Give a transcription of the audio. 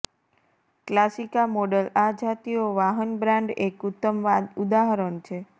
ક્લાસિકા model આ જાતિઓ વાહન બ્રાન્ડ એક ઉત્તમ ઉદાહરણ છે